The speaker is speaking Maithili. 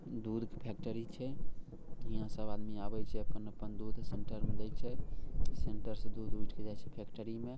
दूध फेक्टरी छै हीया पे सब आदमी आवे छै अपन-अपन दूध सेंटर मे दे छै सेंटर से दूध उठ के जाय छै फेक्टरी में| --